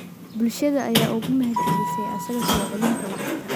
Bulshada ayaa uga mahadcelisay asaga soo celinta lacagta.